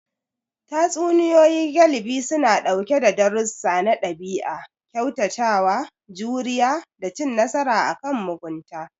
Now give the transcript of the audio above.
Tatsuniyoyi galibi suna ɗauke sa darussa na ɗabi'a, kyautatawa, juriya, da cin nasara akan mugunta.